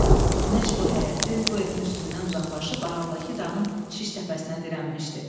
Günəş bu həyətin, bu evin üstündən uzaqlaşıb aralıdakı dağın şiş təpəsinə dirənmişdi.